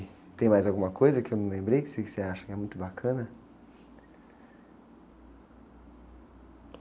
E tem mais alguma coisa que eu não lembrei que você acha que é muito bacana?